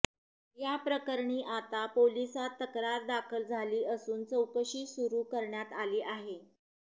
या प्रकरणी आता पोलिसात तक्रार दाखल झाली असून चौकशी सुरू करण्यात आली आहे